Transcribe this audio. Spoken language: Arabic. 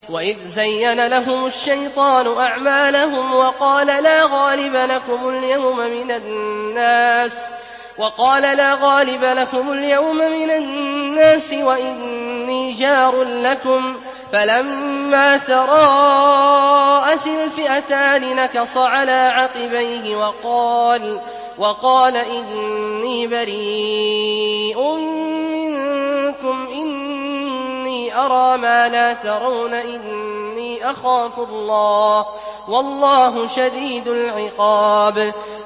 وَإِذْ زَيَّنَ لَهُمُ الشَّيْطَانُ أَعْمَالَهُمْ وَقَالَ لَا غَالِبَ لَكُمُ الْيَوْمَ مِنَ النَّاسِ وَإِنِّي جَارٌ لَّكُمْ ۖ فَلَمَّا تَرَاءَتِ الْفِئَتَانِ نَكَصَ عَلَىٰ عَقِبَيْهِ وَقَالَ إِنِّي بَرِيءٌ مِّنكُمْ إِنِّي أَرَىٰ مَا لَا تَرَوْنَ إِنِّي أَخَافُ اللَّهَ ۚ وَاللَّهُ شَدِيدُ الْعِقَابِ